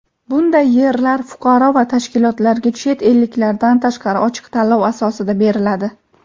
Bunday yerlar fuqaro va tashkilotlarga (chet elliklardan tashqari) ochiq tanlov asosida beriladi.